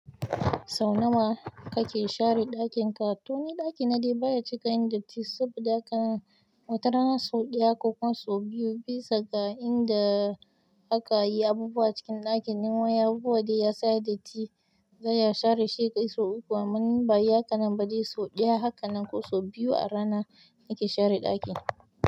Sau nawa kake share ɗakin ka? To ni ɗakina dai baya cika yin datti, saboda haka watarana sau ɗaya ko kuma sau biyu, bisa ga inda aka yi abubuwa cikin ɗakin. Nan wani abubuwa dai ya sa yayi datti, zan iya share shi ya kai sau uku, amma in ba ayi haka nan ba dai so ɗaya haka nan ko sau biyu a rana nake share ɗaki.